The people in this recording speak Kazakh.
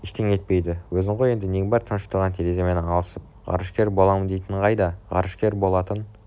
ештеңе етпейді өзің ғой енді нең бар тыныш тұрған тереземен алысып ғарышкер боламындейтінің қайда ғарышкер болатын